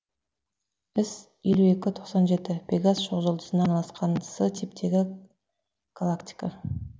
іс елу екі тоқсан жеті пегас шоқжұлдызына орналасқан с типтегі галактика